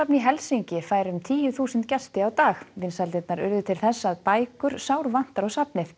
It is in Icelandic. í Helsinki fær um tíu þúsund gesti á dag vinsældirnar urðu til þess að bækur sárvantaði sárvantar á safnið